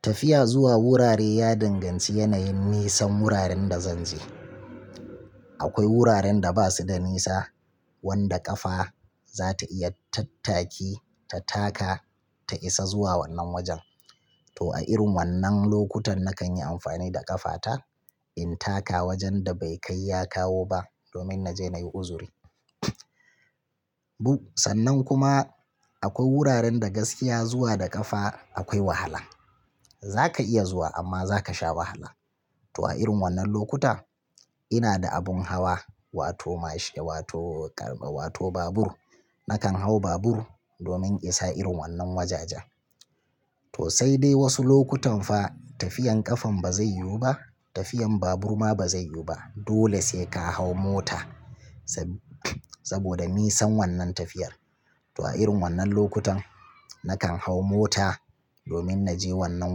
Tafiya zuwa wurare ya danganci yanayin nisan wuraren da zanje. Akwai wuraren da basuda nisa wanda ƙafa zata iya tattaki ta taka ta isa zuwa wannan wajen. To a irin wannan lokutan nakan yi amfani da ƙafata in taka wajen da bai kai yakawo ba domin naje nayi uzuri. Sannan kuma akwai wuraren da gaskiya zuwa da ƙafa akwai wahala. Zaka iya zuwa amma zaka sha wahala. To a irin wannan lokuta ina da abun hawa wato mashin wato ƙarfe wato babur. Nakan hau babur domin in isa irin wannan wajajen. To sai dai wasu lokutan fa tafiyan ƙafan bazai yiwu ba tafiyan babur ma bazai yiwu ba dole sai ka hau mota saboda nisan wannan tafiyar. To a irin wannan lokutan nakan hau mota domin naje wannan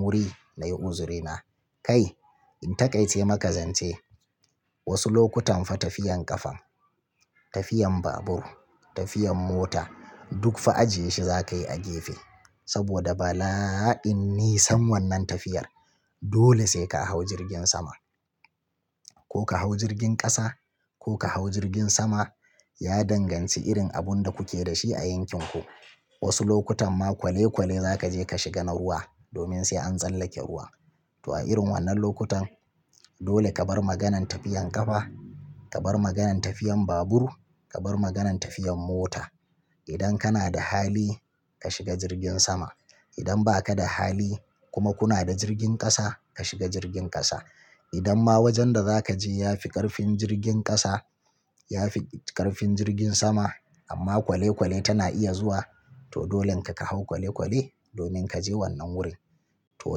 wuri nayi uzurina. Kai in taƙaice maka zance wasu lokutan fa tafiyan ƙafan, tafiyan babur, tafiyan mota duk fa ajiye shi zakayi a gefe saboda bala'in nisan wannan tafiyar. Dole sai ka hau jirgin sama. Ko ka hau jirgin ƙasa ko ka hau jirgin sama ya danganci irin abunda kuke da shi a yankin ku. Wasu lokutan ma kwale-kwale zakaje ka shiga na ruwa domin sai an tsallake ruwa. To a irin wannan lokutan dole ka bar maganan tafiyan ƙafa, ka bar maganan tafiyan babur, ka bar maganan tafiyan mota. Idan kana da hali ka shiga jirgin sama. Idan baka da hali kuma kuna da jirgin ƙasa ka shiga jirgin ƙasa. Idan ma wajen da zakaje yafi ƙarfin jirgin ƙasa yafi ƙarfin jirgin sama amma kwale-kwale tana iya zuwa to dolenka kahau kwale-kwale domin kaje wannan wurin. To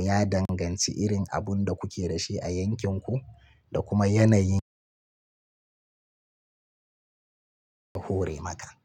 ya danganci irin abun da kuke da shi a yankin ku da kuma yanayin ya hore maka.